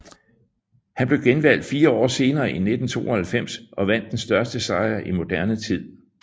Han blev genvalgt fire år senere i 1992 og vandt den største sejr i moderne tid